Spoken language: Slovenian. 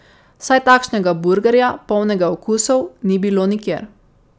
Saj takšnega burgerja, polnega okusov, ni bilo nikjer.